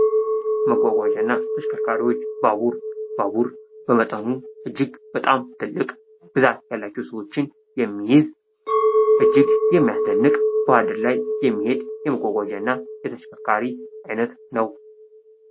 መጓጓዣ እና ተሽከርካሪዎች ባቡር ባቡር በመጠኑ እጅግ በጣም ትልቅ ብዛት ያላቸው ሰዎችን የሚይዝ እጅግ የሚያስደንቅ ባደን ላይ የሚሄድ የመጓጓዣ እና የተሽከርካሪ ዓይነት ነው።